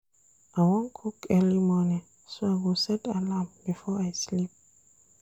I wan cook early morning so I go set alarm before I sleep.